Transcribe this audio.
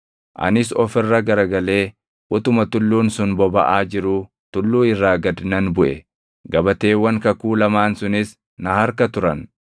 Anis of irra garagalee utuma tulluun sun bobaʼaa jiruu tulluu irraa gad nan buʼe. Gabateewwan kakuu lamaan sunis na harka turan.